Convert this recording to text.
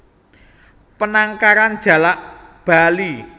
Penangkaran Jalak Bali